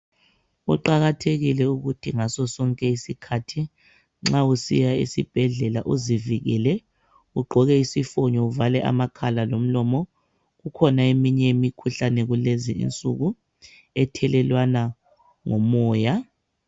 Kuqakathekile ukuthi ngasosonke isikhathi nxa usiya esibhedlela uzivikele ugqoke isifonyo uvale amakhala lomlomo kukhona eminye imikhuhlane kulezinsuku ethelelwana ngomoya.